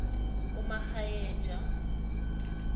umakgwayeja